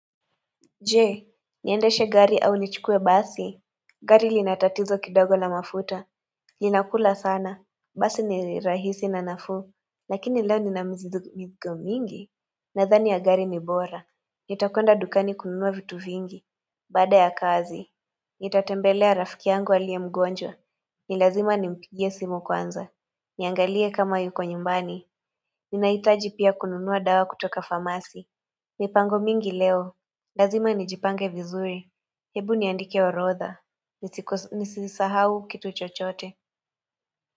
Je, niendeshe gari au nichukue basi. Gari lina tatizo kidogo la mafuta. Linakula sana. Basi ni rahisi na nafuu. Lakini leo nina mizigo mingi. Nadhani ya gari ni bora. Nitakwenda dukani kununua vitu vingi. Bada ya kazi. Nitatembelea rafiki yangu aliye mgonjwa. Ni lazima nimpigie simu kwanza. Niangalie kama yuko nyumbani. Ninahitaji pia kununua dawa kutoka famasi. Mipango mingi leo. Lazima nijipange vizuri. Hebu niandike orodha. Nisisahau kitu chochote.